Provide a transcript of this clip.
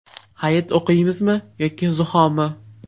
Hayit o‘qiymizmi yoki zuhomi?.